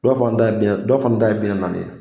Dɔ fana ta ye bi naani, dɔ fana ta ye bi naani naani ye.